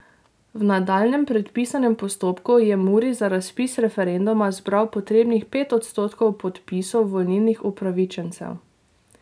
V nadaljnjem predpisanem postopku je Muri za razpis referenduma zbral potrebnih pet odstotkov podpisov volilnih upravičencev.